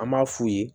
An b'a f'u ye